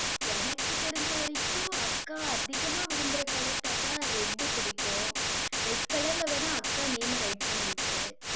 எனக்கு தெரிஞ்சவரைக்கும் அக்கா அதிகமா விரும்புற colour பார்த்தா red பிடிக்கும். red colour ல வேணா, அக்கா name அ write பண்ணிவிட்ரு,